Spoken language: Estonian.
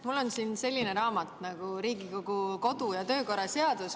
Mul on siin selline raamat nagu "Riigikogu kodu‑ ja töökorra seadus.